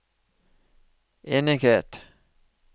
enighet